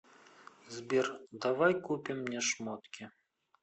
сбер давай купим мне шмотки